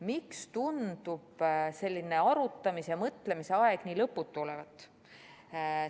Miks tundub selline arutamise ja mõtlemise aeg nii lõputu olevat?